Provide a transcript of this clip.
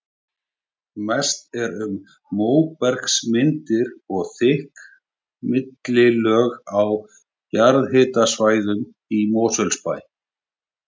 Mest er um móbergsmyndanir og þykk millilög á jarðhitasvæðunum í Mosfellsbæ.